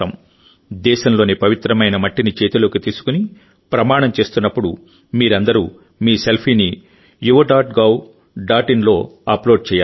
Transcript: దేశంలోని పవిత్రమైన మట్టిని చేతిలోకి తీసుకుని ప్రమాణం చేస్తున్నప్పుడు మీరందరూ మీ సెల్ఫీని Yuva dot gov dot in లో అప్లోడ్ చేయాలి